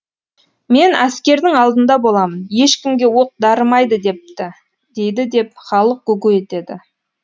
мен әскердің алдында боламын ешкімге оқ дарымайды депті дейді деп халық гу гу етеді